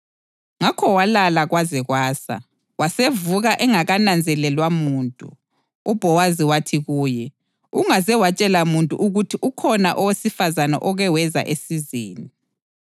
Ngakho walala kwaze kwasa, wasevuka engakananzelelwa muntu; uBhowazi wathi kuye, “Ungaze watshela muntu ukuthi ukhona owesifazane oke weza esizeni.”